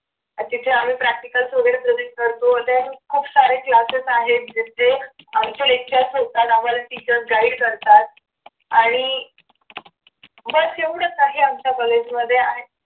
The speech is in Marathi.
आणि तिथे practicals वगैरे आम्ही present करतो खूप सारे classes आहेत म्हणजे जे आमचे lectures होतात आम्हाला teachers guide करतात आणि बस एवढच आहे आमच्या कॉलेजमध्ये